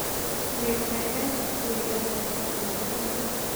Kibet gaigai chob tuuyeet ak tagitari nenyun tugul